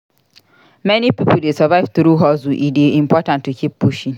Many pipo dey survive through hustle; e dey important to keep pushing.